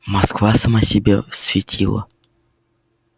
москва сама себе светило